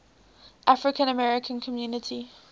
african american community